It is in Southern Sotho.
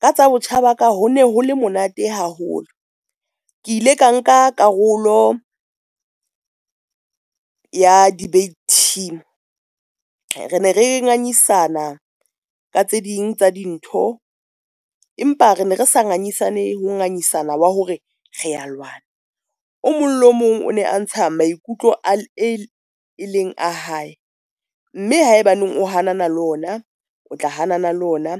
Ka tsa botjha ba ka ho ne hole monate haholo ke ile ka nka karolo ya debate team. Re ne re ngangisana ka tse ding tsa dintho, empa re ne re sa ngangisane ho ngangisana wa hore re a lwana o mong le o mong o ne a ntsha maikutlo a e leng a hae mme haebaneng o hanana le ona, o tla hanana le ona.